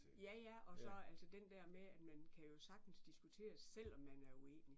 Ja ja, og så altså den der med at man kan jo sagtens diskutere, selvom man er uenig